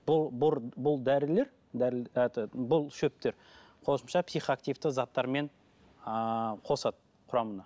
бұл бұл дәрілер этот бұл шөптер қосымша психоактивті заттармен ыыы қосады құрамына